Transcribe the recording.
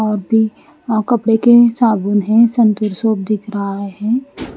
और भी अ कपड़ो के साबुन है सुन्तुर सोप दिख रहा है।